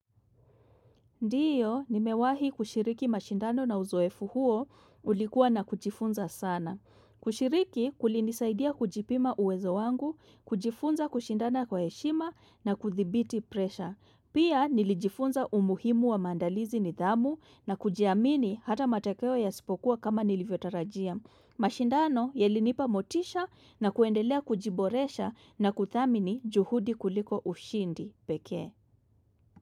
Ndiyo, nimewahi kushiriki mashindano na uzoefu huo ulikuwa na kujifunza sana. Kushiriki kulinisaidia kujipima uwezo wangu, kujifunza kushindana kwa heshima na kuthibiti presha. Pia nilijifunza umuhimu wa mandalizi ni dhamu na kujiamini hata matakeo ya sipokuwa kama nilivyotarajia. Mashindano yelinipa motisha na kuendelea kujiboresha na kuthamini juhudi kuliko ushindi peke.